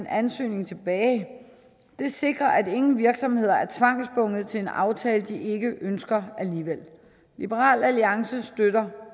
ansøgning tilbage det sikrer at ingen virksomheder er tvangsbundet til en aftale de ikke ønsker alligevel liberal alliance støtter